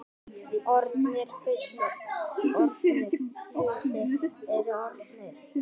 Orðnir hlutir eru orðnir.